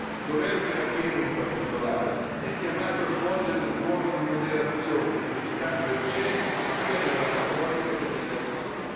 Il governo iracheno, in particolare, è chiamato a svolgere un ruolo di moderazione, evitando eccessi sia nella retorica che nelle azioni.